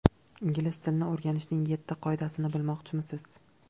Ingliz tilini o‘rganishning yetti qoidasini bilmoqchimisiz?.